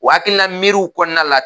O hakilina miiriw kɔnɔna la